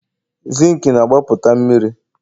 Zinc na-agbapụta mmiri?